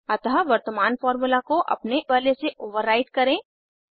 अतः वर्तमान फार्मूला को अपने वाले से ओवरराईट करें